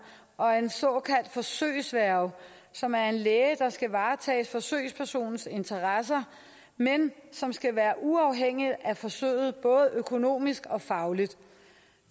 og af en såkaldt forsøgsværge som er en læge der skal varetage forsøgspersonens interesser men som skal være uafhængig af forsøget både økonomisk og fagligt